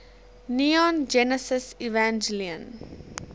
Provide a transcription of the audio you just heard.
neon genesis evangelion